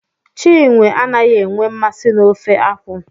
Chinwe anaghị enwe nmasị n'ofe akwụ.